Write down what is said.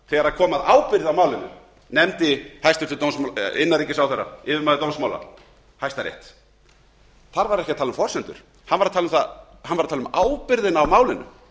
þegar kom ábyrgð á málinu nefndi hæstvirtur innanríkisráðherra yfirmaður dómsmála hæstarétt hann var ekki að tala um forsendur hann var að tala um ábyrgðina á málinu